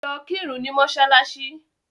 Lọ kírun ni mọ́ṣáláṣì.